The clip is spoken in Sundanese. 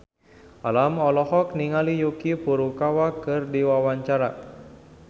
Alam olohok ningali Yuki Furukawa keur diwawancara